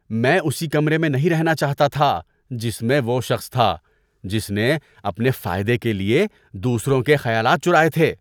میں اسی کمرے میں نہیں رہنا چاہتا تھا جس میں وہ شخص تھا جس نے اپنے فائدے کے لیے دوسروں کے خیالات چرائے تھے۔